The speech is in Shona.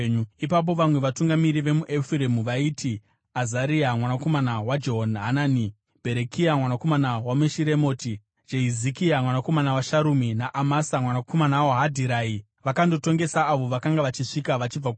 Ipapo vamwe vatungamiri vemuEfuremu vaiti Azaria, mwanakomana waJehohanani, Bherekia mwanakomana waMeshiremoti, Jehizikia mwanakomana waSharumi naAmasa mwanakomana waHadhirai, vakandotongesa avo vakanga vachisvika vachibva kuhondo.